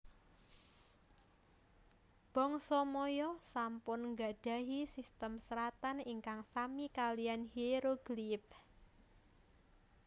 Bangsa Maya sampun gadhahi sistem seratan ingkang sami kaliyan Hierogliyph